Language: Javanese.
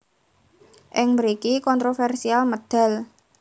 Ing mriki kontroversial medal